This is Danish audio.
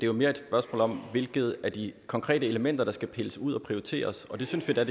jo mere et spørgsmål om hvilket af de konkrete elementer der skal pilles ud og prioriteres og det synes vi er